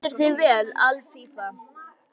Þú stendur þig vel, Alfífa!